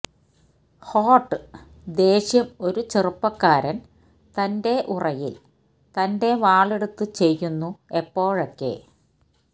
hot ദേഷ്യം ഒരു ചെറുപ്പക്കാരൻ തന്റെ ഉറയിൽ തന്റെ വാളെടുത്ത് ചെയ്യുന്നു എപ്പോഴൊക്കെ